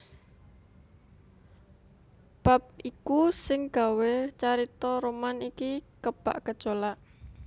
Bab iku sing gawé carita roman iki kebak gejolak